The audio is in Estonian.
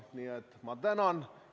Nii et ma tänan!